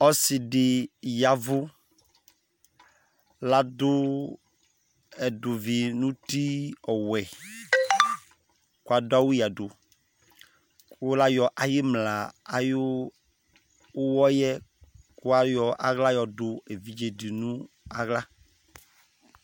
ɔse di ya vu lado ɛdòvi n'uti ɔwɛ kò adu awu ya du kò la yɔ ayi imla ayi uwɔ yɛ kò ayɔ ala yɔ do evidze di no ala